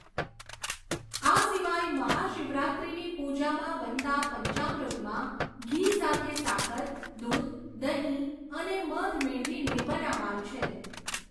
આ સિવાય મહાશિવરાત્રિની પુજામાં બનતા પંચામૃતમાં ઘી સાથે સાકર, દૂધ, દહીં, અને મધ મેળવીને બનાવાય છે.